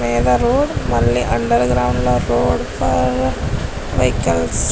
Road మరియు underground లో కూడా వెహికల్స్ .